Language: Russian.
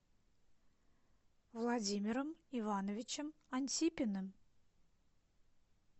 владимиром ивановичем антипиным